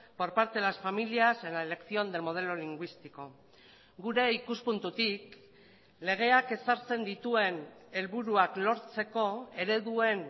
por parte de las familias en la elección del modelo lingüístico gure ikuspuntutik legeak ezartzen dituen helburuak lortzeko ereduen